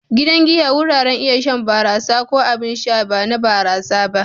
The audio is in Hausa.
Gidan giya wuraren iya shan barasa ko abin sha ba na barasa ba.